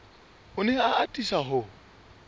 o ne a atisa ho